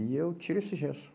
E eu tiro esse gesso.